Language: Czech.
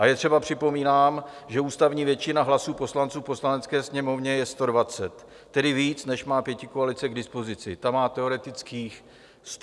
A je třeba připomínat, že ústavní většina hlasů poslanců v Poslanecké sněmovně je 120, tedy víc, než má pětikoalice k dispozici, ta má teoretických 108 hlasů.